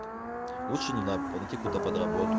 лучше не надо по найти какую-то подработку